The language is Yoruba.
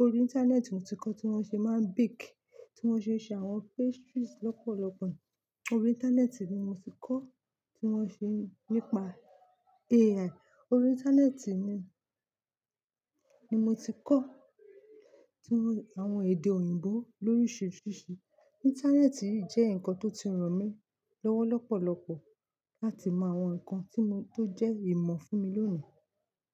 Orí Íńtánẹ́ẹ̀tì ni mo ti kọ́ tí wọ́n ṣe máa ń bake, tí wọ́n ṣe ń ṣe àwọn pastries lọ́pọ̀lọpọ̀. Orí Íńtánẹ́ẹ̀tì ni mo ti kọ́ tí wọ́n ṣe ń nípa AI. Orí Íńtánẹ́ẹ̀tì ni, ni mo ti kọ́ àwọn èdè òyìnbó lóríṣiríṣi. Íńtánẹ́ẹ̀tì jẹ́ ǹkan tó ti ràn mí lọ́wọ́ lọ́pọ̀lọpọ̀ láti mọ àwọn ǹkan tí mo tó jẹ́ ìmọ̀ fún mi lónìí.